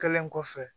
Kɛlen kɔfɛ